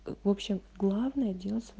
в общем главное делай сво